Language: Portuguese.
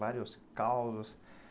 Vários causos.